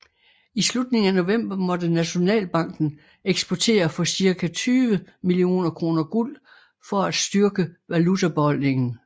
I slutningen af november måtte Nationalbanken eksportere for cirka 20 millioner kroner guld for at styrke valutabeholdningen